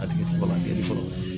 A tigi tɛ bagan kɛnɛ sɔrɔ